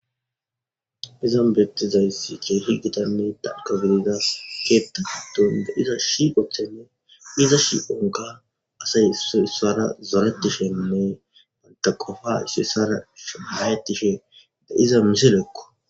Izan bettizayssi keehi gitanni danko gididas keetta hadon de iza shiqochene iza shi7onka asay isoissara zoretishenney banta qofa issoyssara shhayetishe da iza miselekko.